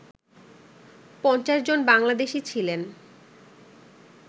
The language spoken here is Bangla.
৫০ জন বাংলাদেশি ছিলেন